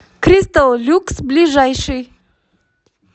кристалл люкс ближайший